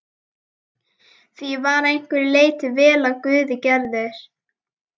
Því ég var að einhverju leyti vel af guði gerður.